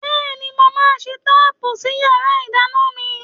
Bẹ́ẹ̀ni, mo máa ṣe táàpù sí yàrá ìdáná mi.